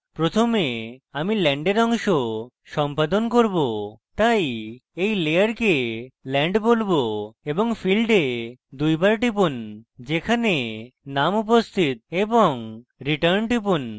প্রথমে আমি land অংশ সম্পাদন করব তাই এই layer land বলবো এবং ফীল্ডে দুইবার টিপুন যেখানে name উপস্থিত এবং return টিপুন